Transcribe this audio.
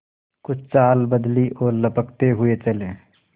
कुछ चाल बदली और लपकते हुए चले